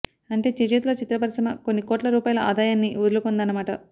అంటే చేజేతులా చిత్ర పరిశ్రమ కొన్ని కోట్ల రూపాయల ఆదాయాన్ని వదులుకొందన్నమాట